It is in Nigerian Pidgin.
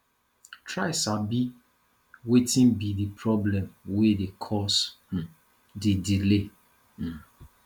try sabi wetin be di problem wey dey cause um di delay um